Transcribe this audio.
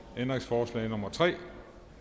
ændringsforslag nummer tre